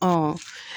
Ɔ